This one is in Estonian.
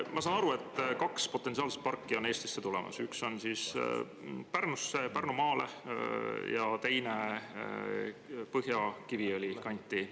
Ma saan aru, et kaks potentsiaalset parki on Eestisse tulemas: üks Pärnumaale ja teine Põhja-Kiviõli kanti.